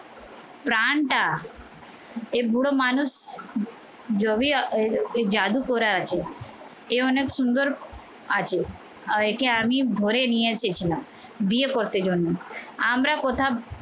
প্রাণটা এ বুড়ো মানুষ জবি জাদু পরে আছে এ অনেক সুন্দর আছে। একে আমি ধরে নিয়ে এসেছিলাম বিয়ে করতে জন্য আমরা কোথাও